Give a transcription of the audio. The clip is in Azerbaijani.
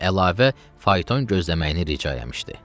Və əlavə fayton gözləməyini rica eləmişdi.